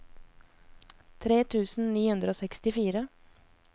tre tusen ni hundre og sekstifire